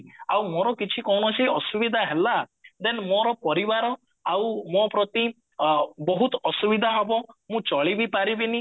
ଆଉ ମୋର କିଛି କୌଣସି ଅସୁବିଧା ହେଲା then ମୋର ପରିବାର ଆଉ ମୋ ପ୍ରତି ଅ ବହୁତ ଅସୁବିଧା ହବ ମୁଁ ଚଳିବି ପାରିବିନି